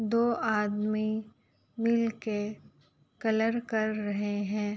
दो आदमी मिलके कलर कर रहे हैं।